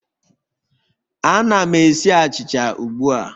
Ana m esi achịcha ugbu a